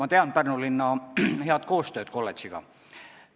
Ma tean Pärnu linna head koostööd kolledžiga.